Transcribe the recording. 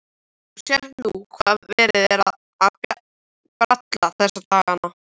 Þú sérð nú hvað verið er að bralla þessa dagana.